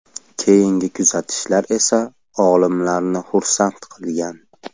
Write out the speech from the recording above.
Keyingi kuzatishlar esa olimlarni xursand qilgan.